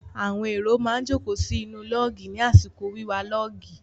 Àwọn èrò má ń jókòó sí inú lọ́ọ̀gì ní àsìkò wíwa lọ́ọ̀gì.